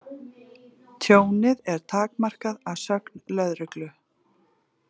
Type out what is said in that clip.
Tjónið er takmarkað að sögn lögreglu